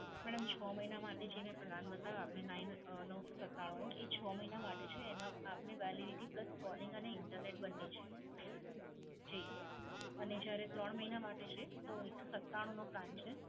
Madam છ મહિના માટે જે મે Plan બતાવ્યો આપને Nine અમ નવસો સત્તાણું રૂપિયાનો, એ છ મહિના માટે છે. એમાં આપને Validity plus calling અને Internet બંને છે. જી, અને જ્યારે ત્રણ મહિના માટે છે તો એકસો સત્તાણુનો Plan છે.